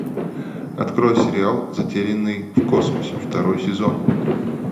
открой сериал затерянный в космосе второй сезон